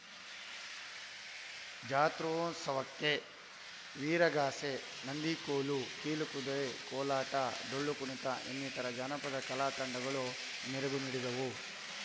ಜಾತ್ರೋತ್ಸವಕ್ಕೆ ವೀರಗಾಸೆ ನಂದಿಕೋಲು ಕೀಲು ಕುದುರೆ ಕೋಲಾಟ ಡೊಳ್ಳು ಕುಣಿತ ಇನ್ನಿತರ ಜಾನಪದ ಕಲಾ ತಂಡಗಳು ಮೆರಗು ನೀಡಿದವು